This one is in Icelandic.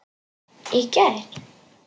Í gær?